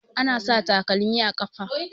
Ana sa takalmi a ƙafa.